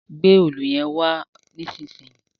gbé Òòlù yén wà nísìsiyìí!